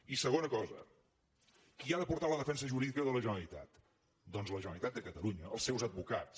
i segona cosa qui ha de portar la defensa jurídica de la generalitat doncs la generalitat de catalunya els seus advocats